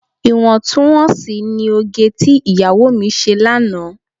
Iwọntún-wọnsì ni òge tí ìyàwó mi ṣe lánàá.